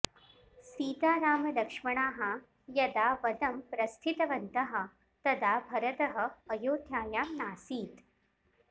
सीतारामलक्ष्मणाः यदा वनं प्रस्थितवन्तः तदा भरतः अयोध्यायां नासीत्